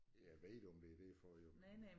Jeg ved ikke om det derfor jo men